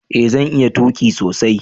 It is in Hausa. eh zan iya tuki sosai